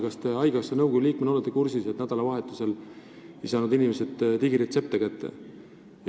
Kas te haigekassa nõukogu liikmena olete kursis, et nädalavahetusel ei saanud inimesed digiretseptiga ravimeid kätte?